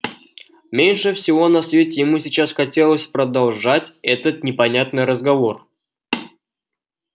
меньше всего на свете ему сейчас хотелось продолжать этот непонятный разговор